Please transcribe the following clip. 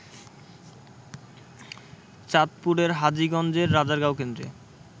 চাঁদপুরের হাজীগঞ্জের রাজারগাঁও কেন্দ্রে